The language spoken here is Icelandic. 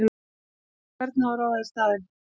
Og hvern á að ráða í staðinn?!